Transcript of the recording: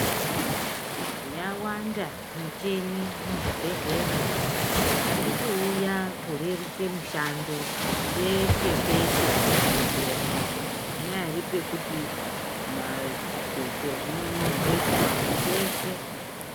Yawanda michini muzvibhedhlera, iri kuuya korerutse mishando peshe-peshe muzvibhendlera, panyaari pekuti maa zvidhloko zvinonogezwa peshe.